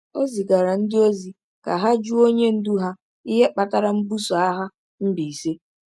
O zigaara ndị ozi ka ha jụọ onye ndu ha ihe kpatara mbuso agha Mbaise.